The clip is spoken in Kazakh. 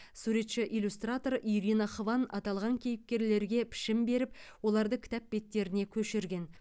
суретші иллюстратор ирина хван аталған кейіпкерлерге пішін беріп оларды кітап беттеріне көшірген